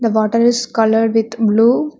The water is coloured with blue.